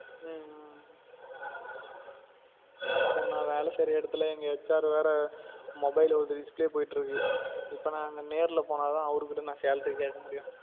உம் இப்போ நான் வேல செய்யுற எடத்துல எங்க HR வேற mobile ஒதறி display போயிட்டு இருக்கு இப்ப நான் அங்க நேர்ல போனா தான் அவரு கிட்ட நான் salary கேக்க முடியும்